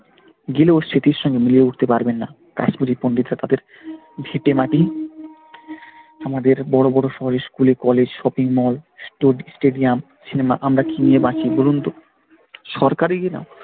গেলেও সেটির সঙ্গে মিলিয়ে উঠতে পারবেন না কাশ্মীরি পণ্ডিতরা তাদের ভিটেমাটি আমাদের বড় বড় শহরে school এ college shopping malls, stadium সিনেমা আমরা কি নিয়ে বাঁচি বলুনতো? সরকারই কিনা,